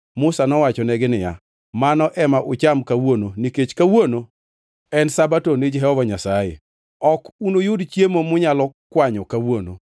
Musa nowachonegi niya, “Mano ema ucham kawuono nikech kawuono en Sabato ni Jehova Nyasaye. Ok unuyud chiemo munyalo kwanyo kawuono.